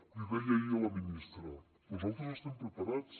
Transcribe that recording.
l’hi deia ahir a la ministra nosaltres estem preparats